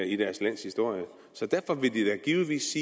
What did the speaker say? i deres lands historie derfor vil de da givetvis